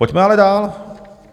Pojďme ale dál.